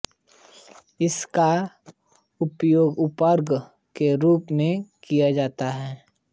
इसका प्रयोग उर्वरक के रूप में किया जाता है